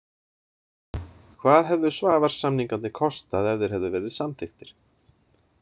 Hvað hefðu Svavars-samningarnir kostað ef þeir hefðu verið samþykktir?